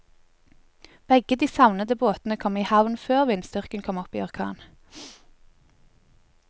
Begge de savnede båtene kom i havn før vindstyrken kom opp i orkan.